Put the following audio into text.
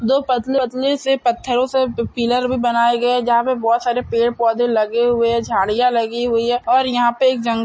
दो पतले- पतले से पत्थरों से पिलर भी बनाई गए है जहाँ पे बहुत सारे पेड़-पोधे लगे हुए है झाड़ियाँ लगी हुई है और यहाँ पे एक जंगल --